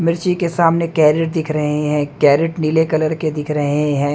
मिर्ची के सामने कैरेट दिख रहे हैं कैरेट नीले कलर के दिख रहे हैं।